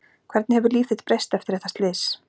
Hvernig hefur líf þitt breyst eftir þetta slys?